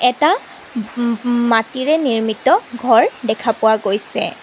এটা উম ম মাটিৰে নিৰ্মিত ঘৰ দেখা পোৱা গৈছে।